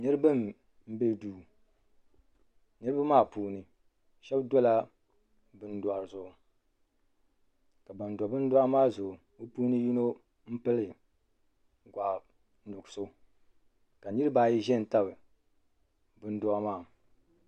Niriba m be duu niriba maa puuni sheba dola bindohi zuɣu ka ban do bindohi maa zuɣu bɛ yino pili ka niriba ayi ʒɛn tabi bindohi maa.